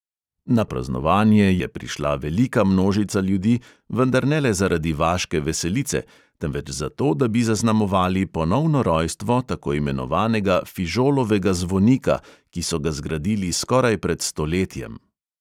Na praznovanje je prišla velika množica ljudi, vendar ne le zaradi vaške veselice, temveč zato, da bi zaznamovali ponovno rojstvo tako imenovanega fižolovega zvonika, ki so ga zgradili skoraj pred stoletjem.